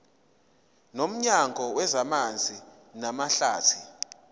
nomnyango wezamanzi namahlathi